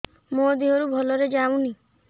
ମୋ ଦିହରୁ ଭଲରେ ଯାଉନି